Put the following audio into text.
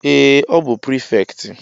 Ee! Ọ bụ prịfektị.